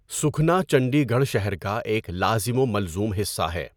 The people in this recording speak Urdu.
سُکھنا چندی گڑھ شہر کا ایک لازم و ملزوم حصہ ہے۔